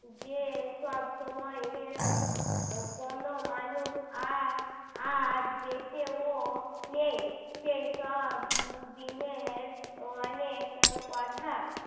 যে সব সময়ই কোনও মানুষ আর আর দেখেও নেই সেই সব দিনের অনেক কথা